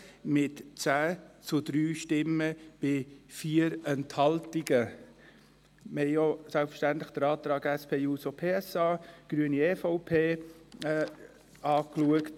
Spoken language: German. Selbstverständlich haben wir auch den Antrag SP-JUSO-PSA, Grüne und EVP betrachtet.